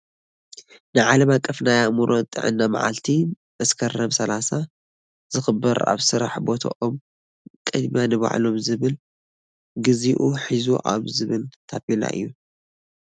ናይ ዓለም ኣቀፍ ናይ ኣእምሮ ጥዕና መዓልቲ መስከረም ሰላሳ ዝክበር ኣብ ስራሕ ቦቶኦም ቅድምያ ንባዕሎም ዝብል ግዚኡ ሕዚ እዩ ዝብል ታፔላ እዩ።